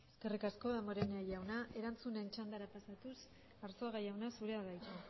eskerrik asko damborenea jauna erantzunen txandara pasatuz arzuaga jauna zurea da hitza